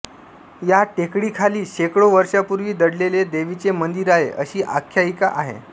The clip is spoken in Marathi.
या टेकडीखाली शेकडो वर्षांपूर्वी दडलेले देवीचे मंदिर आहे अशी आख्यायिका आहे